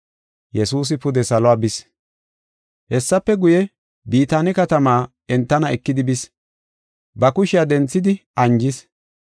Hessafe guye, Bitaane katamaa entana ekidi bis. Ba kushiya denthidi anjis.